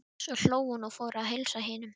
Svo hló hún og fór að heilsa hinum.